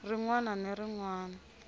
rin wana ni rin wana